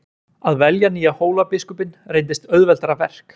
Að velja nýja Hólabiskupinn reyndist auðveldara verk.